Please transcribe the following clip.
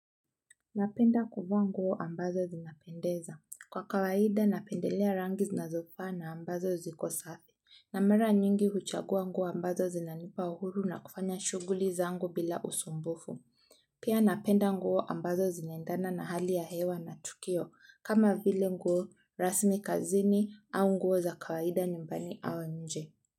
Napenda kuvaa nguo ambazo zinapendeza. Kwa kawaida napendelea rangi zinazofaa na ambazo zikosafi. Na mara nyingi huchagua nguo ambazo zinanipa uhuru na kufanya shughuli zangu bila usumbufu. Pia napenda nguo ambazo zinaendana na hali ya hewa na tukio kama vile nguo rasmi kazini au nguo za kawaida nyumbani au nje.